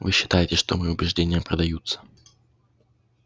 вы считаете что мои убеждения продаются